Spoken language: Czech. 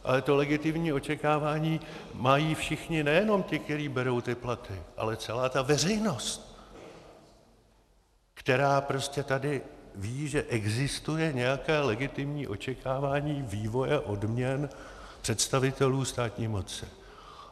Ale to legitimní očekávání mají všichni, nejenom ti, kteří berou ty platy, ale celá ta veřejnost, která prostě tady ví, že existuje nějaké legitimní očekávání vývoje odměn představitelů státní moci.